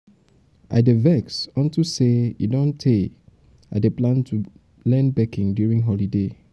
um i dey vex um unto say e um don tey i dey plan to learn baking during the holiday.